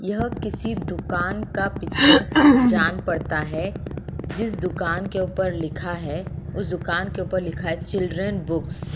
यह किसी दुकान का पिक्चर जान पड़ता है। जिस दुकान के ऊपर लिखा है उस दुकान के ऊपर लिखा है चिल्ड्रन बुक्स --